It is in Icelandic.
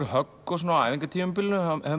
högg á æfingatímabilinu